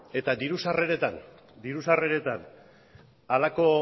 eta diru sarreretan halako